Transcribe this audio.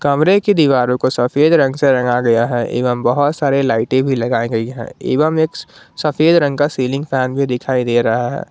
कमरे की दीवारों को सफेद रंग से रंगा गया है एवं बहुत सारे लाइटे भी लगाई गई है एवं एक सफेद रंग का सीलिंग फैन भी दिखाई दे रहा है।